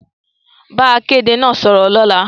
Bá akéde náà sọ̀rọ̀ lọ́la